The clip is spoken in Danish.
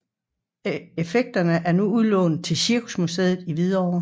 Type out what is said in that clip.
Effekterne er nu udlånt til Cirkusmuseet i Hvidovre